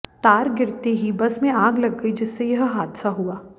तार गिरते ही बस में आग लग गई जिससे यह हादसा हुआ